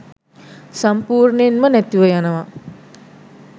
සම්පූර්ණයෙන්ම නැතිව යනවා.